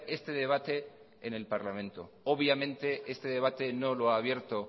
este debate en el parlamento obviamente este debate no lo ha abierto